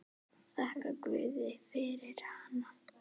Þakkar guði fyrir hana.